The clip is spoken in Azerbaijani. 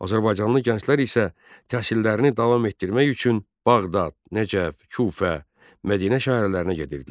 Azərbaycanlı gənclər isə təhsillərini davam etdirmək üçün Bağdad, Nəcəf, Kufə, Mədinə şəhərlərinə gedirdilər.